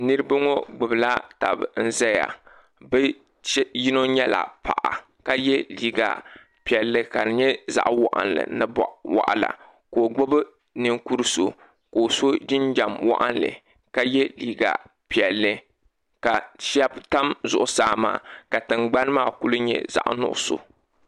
Niriba ŋɔ gbibila taba n zaya bɛ yino nyɛla paɣa ka ye liiga piɛlli ka di nyɛ zaɣa waɣinli boɣawaɣala ka o gbibi ninkuri'so so jinjiɛm waɣinli ka ye liiga piɛlli ka sheba tam zuɣusaa maa ka tingbani maa kuli nyɛ zaɣa nuɣuso.